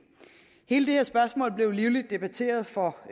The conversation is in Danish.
hele det her spørgsmål blev livligt debatteret for